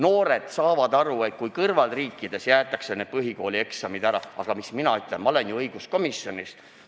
Noored saavad aru, et naaberriikides jäetakse need põhikooli lõpueksamid ära, aga mis mina siin ikka ütlen, ma olen ju õiguskomisjonist.